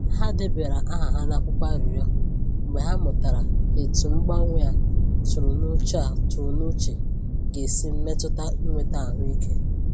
Ha debara aha ha n’akwụkwọ arịrịọ mgbe ha mụtara etu mgbanwe a tụrụ n’uche a tụrụ n’uche ga esi mmetụta inweta ahụike.